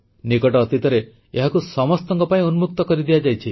ନିକଟ ଅତୀତରେ ଏହାକୁ ସମସ୍ତଙ୍କ ପାଇଁ ଉନ୍ମୁକ୍ତ କରିଦିଆଯାଇଛି